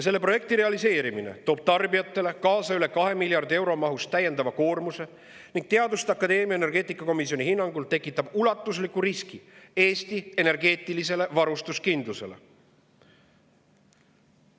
Selle projekti realiseerimine toob tarbijatele kaasa täiendava koormuse üle 2 miljardi euro mahus ning Teaduste Akadeemia energeetikakomisjoni hinnangul tekitab ulatusliku riski Eesti energeetilisele varustuskindlusele.